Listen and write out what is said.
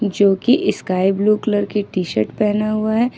जो कि sky blue की टी_शर्ट पहना हुआ है।